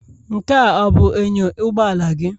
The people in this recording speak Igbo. Nkea abụ inyo ụgbọala gị?